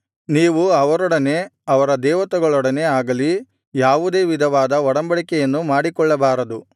ನೀವು ಅವರೊಡನೆ ಅವರ ದೇವತೆಗಳೊಡನೆ ಆಗಲಿ ಯಾವುದೇ ವಿಧವಾದ ಒಡಂಬಡಿಕೆಯನ್ನೂ ಮಾಡಿಕೊಳ್ಳಬಾರದು